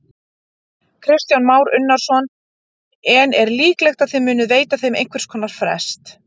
Kristján Már Unnarsson: En er líklegt að þið munið veita þeim einhvers konar frest?